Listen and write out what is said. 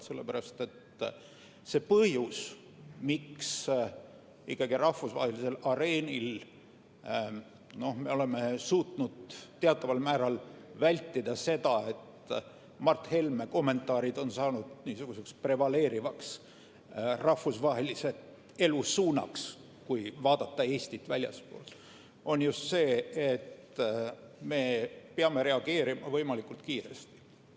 Sellepärast, et see põhjus, miks me ikkagi rahvusvahelisel areenil oleme suutnud teataval määral vältida seda, et Mart Helme kommentaarid oleks saanud niisuguseks prevaleerivaks rahvusvahelise elu suunaks, kui vaadata Eestit väljastpoolt, on just see, et me peame reageerima võimalikult kiiresti.